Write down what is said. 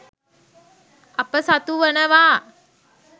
අප සතුවනවා.